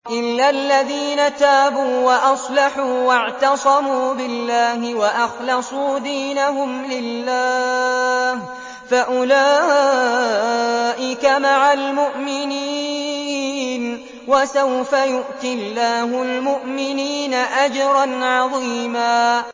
إِلَّا الَّذِينَ تَابُوا وَأَصْلَحُوا وَاعْتَصَمُوا بِاللَّهِ وَأَخْلَصُوا دِينَهُمْ لِلَّهِ فَأُولَٰئِكَ مَعَ الْمُؤْمِنِينَ ۖ وَسَوْفَ يُؤْتِ اللَّهُ الْمُؤْمِنِينَ أَجْرًا عَظِيمًا